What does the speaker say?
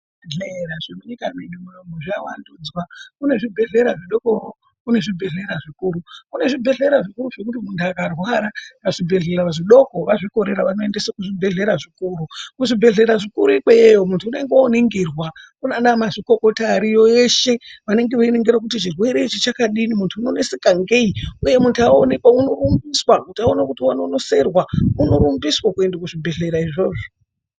Zvibhedhlera zvirimunyika medu munomu zvavandudzwa, kune zvibhedhlera zvidokowo, kune zvibhedhlera zvikuru, kune zvibhedhlera zvidoko zvekuti muntu akarwara pazvibhebhedhlera zvidoko azvikorera anoendese kuzvibhedhlera zvikuruwo, muzvibhedhlera zvikuru ikweyo muntu unenge oningirwa kunana mazvikokota Ariyo eshe anenge einingirwa kuti chirwere ichi chakadini muntu unoneseka ngei uye muntu aonekwa unorumbiswa kuti aone kuti wanonoserwa unorumbiswa kuendeswa kuzvibhedhlera izvozvo.